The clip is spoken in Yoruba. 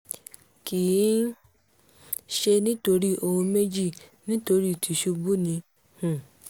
kì í ṣe nítorí ohun méjì nítorí tìṣubù ni um